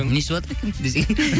не ішіватыр екен десең